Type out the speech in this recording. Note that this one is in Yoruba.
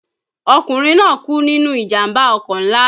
Ọkùnrin náà kú nínú ìjàmbá ọkọ̀ ńlá